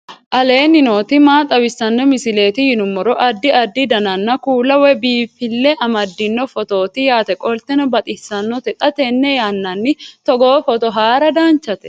aleenni nooti maa xawisanno misileeti yinummoro addi addi dananna kuula woy biinfille amaddino footooti yaate qoltenno baxissannote xa tenne yannanni togoo footo haara danchate